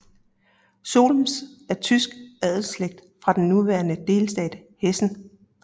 Solms er tysk adelsslægt fra den nuværende delstat Hessen